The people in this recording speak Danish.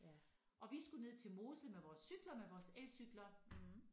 Og vi skulle ned til Mosel med vores cykler med vores elcykler